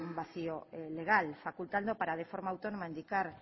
vacío legal facultando para de forma autónoma indicar